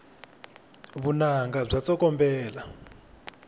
vunanga bya tsokombela